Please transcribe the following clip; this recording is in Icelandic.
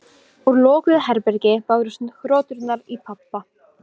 Hildar, kveiktu á sjónvarpinu.